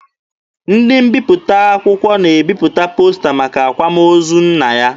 Ndị mbiputa akwụkwọ na-ebipụta posta maka akwamozu nna ya.